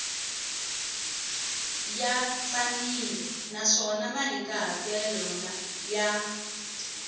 ya tsanile naswona mahikahatelo ya